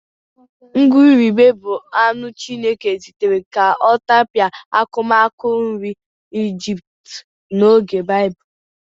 Ìgùrùbè bụ anụ Chineke zitere ka ọ tapịa akụmakụ nri Ijipt n'oge Baịbụl.